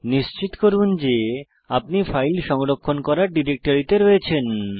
নিশ্চিত করুন যে আপনি ফাইল সংরক্ষণ করার ডিরেক্টরিতে রয়েছেন